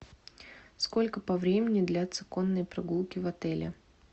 сколько по времени длятся конные прогулки в отеле